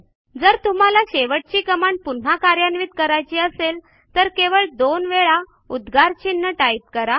जर तुम्हाला शेवटची कमांड पुन्हा कार्यान्वित करायची असेल तर केवळ दोन वेळा उद्गारचिन्ह टाईप करा